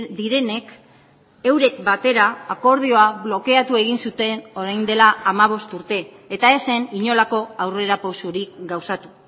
direnek eurek batera akordioa blokeatu egin zuten orain dela hamabost urte eta ez zen inolako aurrera pausurik gauzatu